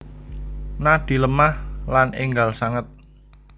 Nadi lemah lan enggal sanget